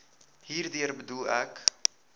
hierdeur bedoel ek